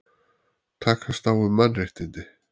Takast á um mannréttindi